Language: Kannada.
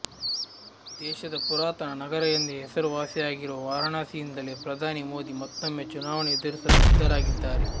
ದೇಶದ ಪುರಾತನ ನಗರ ಎಂದೇ ಹೆಸರು ವಾಸಿಯಾಗಿರುವ ವಾರಣಾಸಿಯಿಂದಲೇ ಪ್ರಧಾನಿ ಮೋದಿ ಮತ್ತೊಮ್ಮೆ ಚುನಾವಣೆ ಎದುರಿಸಲು ಸಿದ್ಧರಾಗಿದ್ದಾರೆ